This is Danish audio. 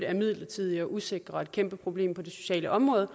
er midlertidige og usikre og et kæmpe problem for det sociale område